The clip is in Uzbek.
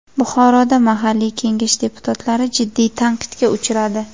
Buxoroda mahalliy Kengash deputatlari jiddiy tanqidga uchradi.